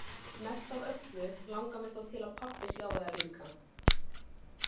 Mest af öllu langar mig þó til að pabbi sjái það líka.